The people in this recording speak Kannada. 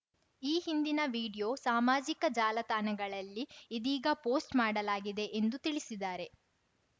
ಈ ಹಿಂದಿನ ವೀಡಿಯೋ ಸಾಮಾಜಿಕ ಜಾಲತಾಣಗಳಲ್ಲಿ ಇದೀಗ ಪೋಸ್ಟ್‌ ಮಾಡಲಾಗಿದೆ ಎಂದು ತಿಳಿಸಿದಾರೆ